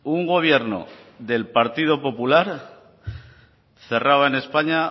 un gobierno del partido popular cerraba en españa